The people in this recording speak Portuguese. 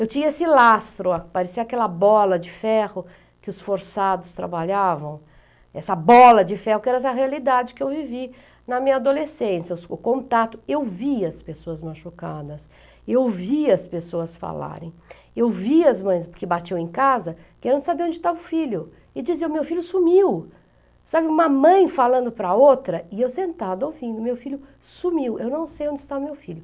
Eu tinha esse lastro, parecia aquela bola de ferro que os forçados trabalhavam, essa bola de ferro que era essa realidade que eu vivi na minha adolescência, o contato, eu via as pessoas machucadas, eu via as pessoas falarem, eu via as mães que batiam em casa, que eram de saber onde estava o filho, e diziam, meu filho sumiu, sabe, uma mãe falando para outra, e eu sentada ouvindo, meu filho sumiu, eu não sei onde está meu filho.